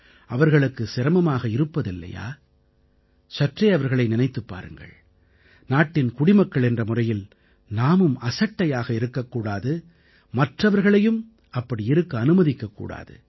அவர்களுக்கு சிரமமாக இருப்பதில்லையா சற்றே அவர்களை நினைத்துப் பாருங்கள் நாட்டின் குடிமக்கள் என்ற முறையில் நாமும் அசட்டையாக இருக்கக் கூடாது மற்றவர்களையும் அப்படி இருக்க அனுமதிக்கக் கூடாது